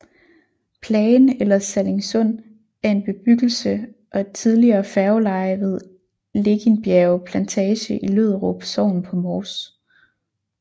Plagen eller Sallingsund er en bebyggelse og et tidligere færgeleje ved Legindbjerge Plantage i Lødderup Sogn på Mors